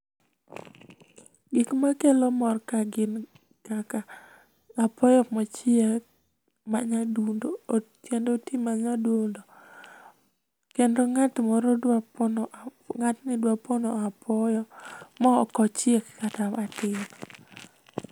Gik makelo mor kaa gin kaka apoyo mochiek manyadundo kendo oti manyadundo. Kendo ng'at moro dwa pon ng'atni dwa pono apoyo ma ok ochiek kata matin.